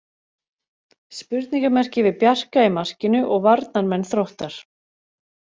Spurningarmerki við Bjarka í markinu og varnarmenn Þróttar.